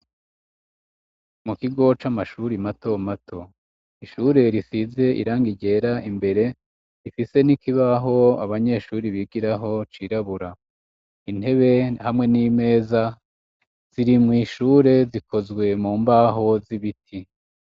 Mukigo c'amashuri mato mato ishure risize irangi ryera imbere rifise n'ikibaho abanyeshuri bigiraho cirabura intebe hamwe n'imeza ziri mwishure zikozwe mu mbaho z'ibiti.